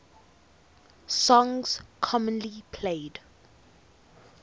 songs commonly played